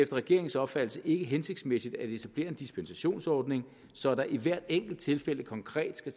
regeringens opfattelse ikke hensigtsmæssigt at etablere en dispensationsordning så der i hvert enkelt tilfælde konkret skal